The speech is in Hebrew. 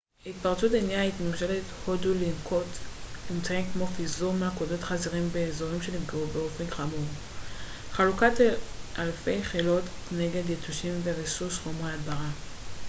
ההתפרצות הניעה את ממשלת הודו לנקוט אמצעים כמו פיזור מלכודות חזירים באזורים שנפגעו באופן חמור חלוקת אלפי כילות נגד יתושים וריסוס חומרי הדברה